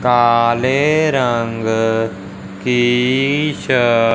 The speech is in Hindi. काले रंग की शर्ट --